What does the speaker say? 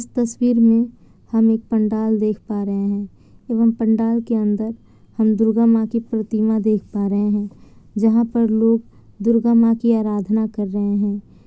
इस तस्वीर में हम एक पंडाल देख पा रहे हैं एवं पंडाल के अंदर हम दुर्गा माँ की प्रतिमा देख पा रहे हैं जहाँ पर लोग दुर्गा माँ की आराधना कर रहे हैं।